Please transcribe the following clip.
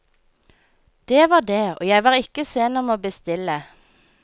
Det var det, og jeg var ikke sen om å bestille.